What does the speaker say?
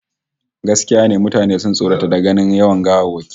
Gaskiya ne, mutane sun tsorata da ganin yawan gawawwakin